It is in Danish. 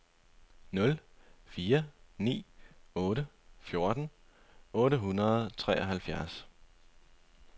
nul fire ni otte fjorten otte hundrede og treoghalvfjerds